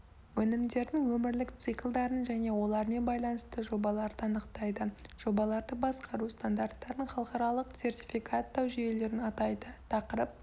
өнімдердің өмірлік циклдарын және олармен байланысты жобаларды анықтайды жобаларды басқару стандарттарын халықаралық сертификаттау жүйелерін атайды тақырып